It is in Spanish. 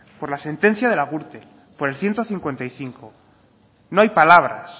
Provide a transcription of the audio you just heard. por la sentencia de la gürtel por el ciento cincuenta y cinco no hay palabras